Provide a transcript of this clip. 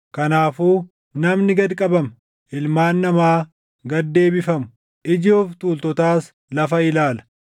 Kanaafuu namni gad qabama; ilmaan namaa gad deebifamu; iji of tuultotaas lafa ilaala.